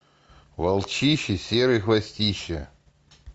волчище серый хвостище